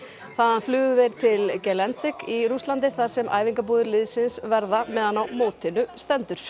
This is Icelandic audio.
þaðan flugu þeir til í Rússlandi þar sem æfingabúðir liðsins verða meðan á mótinu stendur